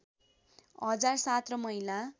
हजार ७ र महिला